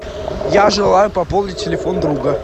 я желаю пополнить телефон друга